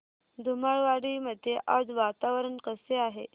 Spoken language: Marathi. धुमाळवाडी मध्ये आज वातावरण कसे आहे